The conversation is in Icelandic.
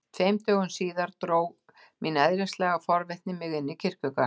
Tveimur dögum síðar dró mín eðlislæga forvitni mig inn í kirkjugarð.